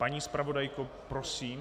Paní zpravodajko, prosím.